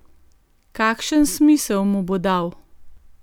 Kakšen smisel mu bo dal?